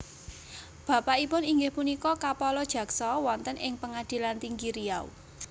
Bapakipun inggih punika kapala jaksa wonten ing Pengadilan Tinggi Riau